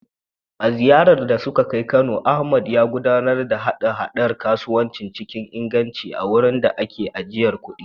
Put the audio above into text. A ziyarar da suka kai Kano, Ahmad, ya gudanar da haɗa-haɗar kasuwanci cikin inganci a wurin da ake ajiye kuɗi.